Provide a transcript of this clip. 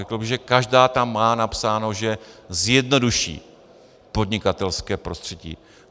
Řekl bych, že každá tam má napsáno, že zjednoduší podnikatelské prostředí.